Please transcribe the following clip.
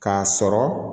K'a sɔrɔ